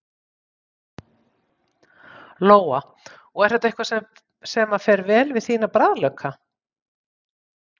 Lóa: Og er þetta eitthvað sem að fer vel við þína bragðlauka?